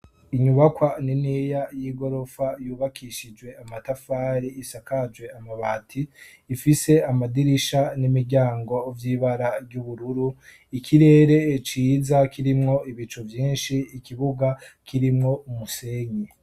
Inyubakwa niniya yigoropfa yubakishijwe amatafari isakajwe amabati ifise amadirisha n'imiryango vyibara ry'ubururu ikirere ciza kirimwo ibicu vyinshi, ikibuga kirimwo umusenyi.